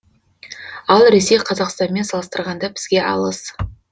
ал ресей қазақстанмен салыстырғанда бізге алыс